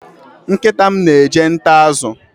Nkịta m na-eje taa azụ